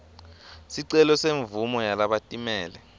sicelo semvumo yalabatimele